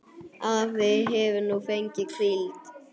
Afi hefur nú fengið hvíld.